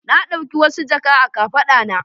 Na ɗauki wasu jaka a kafaɗa na.